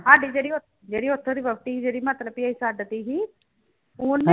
ਸਾਡੀ ਜਿਹੜੀ ਜਿਹੜੀ ਉੱਥੋਂ ਵਹੁਟੀ ਜਿਹੜੀ ਮਤਲਬ ਵੀ ਅਸੀਂ ਛੱਡ ਦਿੱਤੀ ਸੀ, ਉਹਨੇ